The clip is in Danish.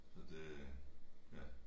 Så det ja